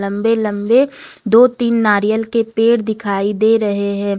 लंबे लंबे दो तीन नारियल के पेड़ दिखाई दे रहे हैं।